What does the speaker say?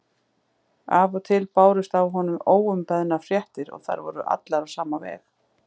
Af og til bárust af honum óumbeðnar fréttir og þær voru allar á sama veg.